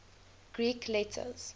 greek letters